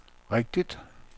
rigtigt